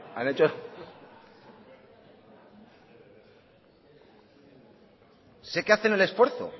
berbotsa sé que hacen el esfuerzo